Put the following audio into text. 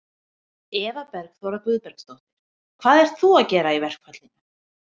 Eva Bergþóra Guðbergsdóttir: Hvað ert þú að gera í verkfallinu?